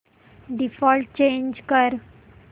default change कर